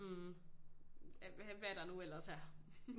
Af hvad der nu ellers er